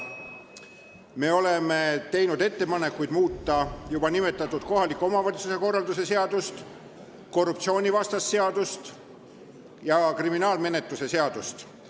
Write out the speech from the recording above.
Me oleme teinud ettepaneku muuta juba nimetatud kohaliku omavalitsuse korralduse seadust, korruptsioonivastast seadust ja kriminaalmenetluse seadustikku.